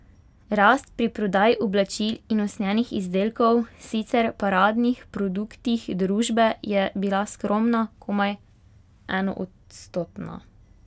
Rast pri prodaji oblačil in usnjenih izdelkov, sicer paradnih produktih družbe, je bila skromna, komaj enoodstotna.